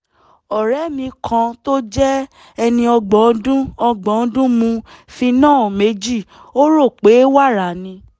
ọ̀rẹ́ mi kan tó jẹ́ ẹni ọgbọ̀n ọdún ọgbọ̀n ọdún mu phenol méjì ó rò pé wàrà ni